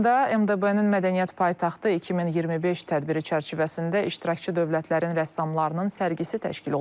Laçında MDB-nin mədəniyyət paytaxtı 2025 tədbiri çərçivəsində iştirakçı dövlətlərin rəssamlarının sərgisi təşkil olunub.